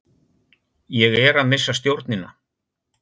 Ég er að missa stjórnina.